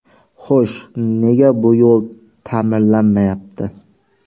Xo‘sh, nega bu yo‘l ta’mirlanmayapti?